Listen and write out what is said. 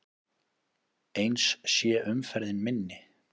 Eins sé umferðin minni.